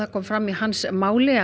kom fram í máli